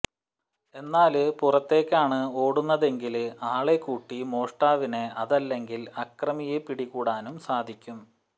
എന്നാല് പുറത്തേക്കാണ് ഓടുന്നതെങ്കില് ആളെക്കൂടി മോഷ്ടാവിനെ അതല്ലെങ്കില് അക്രമിയെ പിടികൂടാനും സാധിക്കും